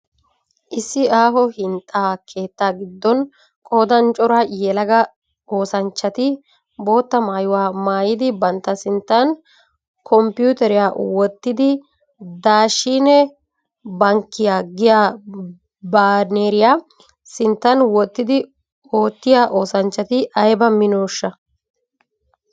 Issi aaho hinxxaa keettaa gidon qoodan cora yelaga oosanchchati bootta maayuwaa maayid bantta sinttan kompputeriya wottidi Daashine Bankkiyaa giya baaneriya sinttaan wottid oottiyaa oosanchchati aybba minooshsha!.